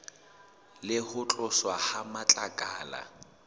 le ho tloswa ha matlakala